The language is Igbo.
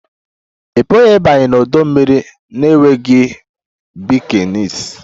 Ị pụghị ịbanye n'ọdọ mmiri na-enweghị bikinis